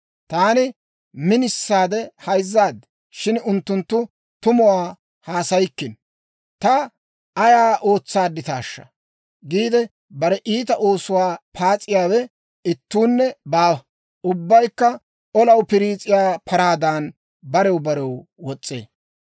Taani minisaade hayzzaad; shin unttunttu tumuwaa haasayikkino. Ta ayaa ootsaadditaashsha? giide bare iita oosuwaa paas'iyaawe ittuunne baawa. Ubbaykka olaw piriis'iyaa paraadan barew barew wos's'ee.